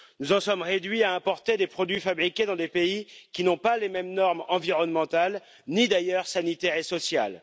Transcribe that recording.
Nous en sommes réduits à importer des produits fabriqués dans des pays qui ne répondent pas aux mêmes normes environnementales, ni d'ailleurs sanitaires et sociales.